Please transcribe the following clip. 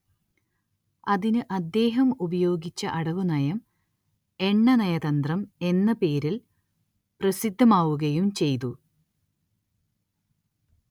അതിന് അദ്ദേഹം ഉപയോഗിച്ച അടവുനയം എണ്ണ നയതന്ത്രം എന്ന പേരിൽ പ്രസിദ്ധമാവുകയും ചെയ്തു